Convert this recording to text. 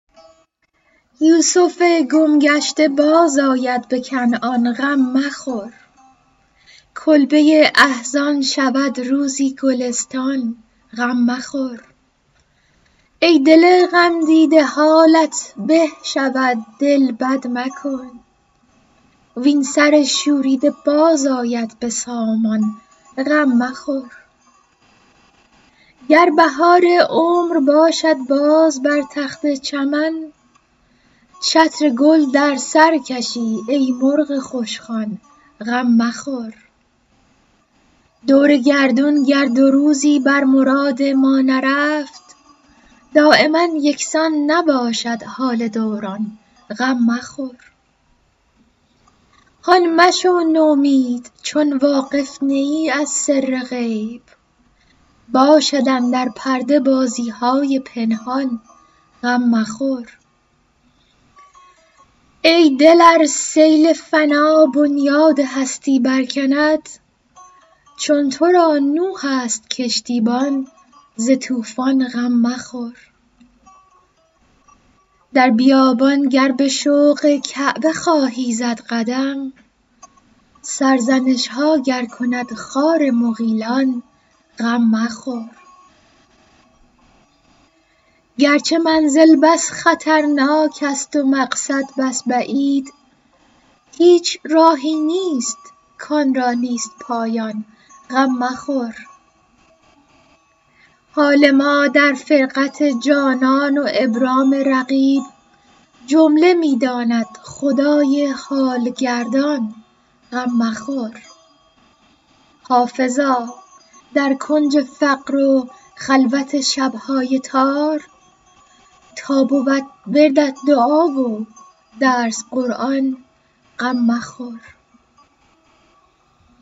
یوسف گم گشته بازآید به کنعان غم مخور کلبه احزان شود روزی گلستان غم مخور ای دل غمدیده حالت به شود دل بد مکن وین سر شوریده باز آید به سامان غم مخور گر بهار عمر باشد باز بر تخت چمن چتر گل در سر کشی ای مرغ خوشخوان غم مخور دور گردون گر دو روزی بر مراد ما نرفت دایما یکسان نباشد حال دوران غم مخور هان مشو نومید چون واقف نه ای از سر غیب باشد اندر پرده بازی های پنهان غم مخور ای دل ار سیل فنا بنیاد هستی برکند چون تو را نوح است کشتیبان ز طوفان غم مخور در بیابان گر به شوق کعبه خواهی زد قدم سرزنش ها گر کند خار مغیلان غم مخور گرچه منزل بس خطرناک است و مقصد بس بعید هیچ راهی نیست کآن را نیست پایان غم مخور حال ما در فرقت جانان و ابرام رقیب جمله می داند خدای حال گردان غم مخور حافظا در کنج فقر و خلوت شب های تار تا بود وردت دعا و درس قرآن غم مخور